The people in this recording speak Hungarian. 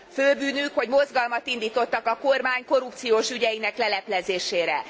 Főbűnük, hogy mozgalmat indítottak a kormány korrupciós ügyeinek leleplezésére.